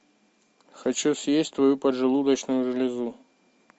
хочу съесть твою поджелудочную железу